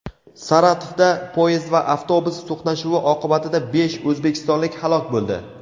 Saratovda poyezd va avtobus to‘qnashuvi oqibatida besh o‘zbekistonlik halok bo‘ldi.